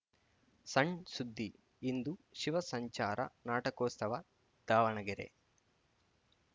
ಸಣ್‌ ಸುದ್ದಿ ಇಂದು ಶಿವ ಸಂಚಾರ ನಾಟಕೋತ್ಸವ ದಾವಣಗೆರೆ